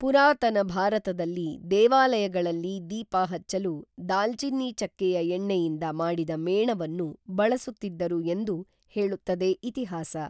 ಪುರಾತನ ಭಾರತದಲ್ಲಿ ದೇವಾಲಯಗಳಲ್ಲಿ ದೀಪ ಹಚ್ಚಲು ದಾಲ್ಚಿನ್ನಿ ಚಕ್ಕೆಯ ಎಣ್ಣೆಯಿಂದ ಮಾಡಿದ ಮೇಣವನ್ನು ಬಳಸುತ್ತಿದ್ದರು ಎಂದು ಹೇಳುತ್ತದೆ ಇತಿಹಾಸ.